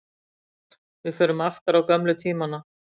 Við förum aftur á gömlu tímana.